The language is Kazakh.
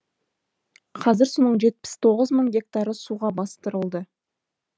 қазір соның жетпіс тоғыз мың гектары суға бастырылды